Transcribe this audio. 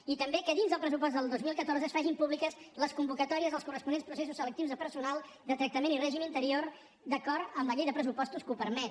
i també que dins del pressupost del dos mil catorze es facin públiques les convocatòries dels corresponents processos selectius de personal de tractament i règim interior d’acord amb la llei de pressupostos que ho permet